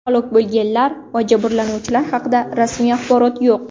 Halok bo‘lganlar va jabrlanuvchilar haqida rasmiy axborot yo‘q.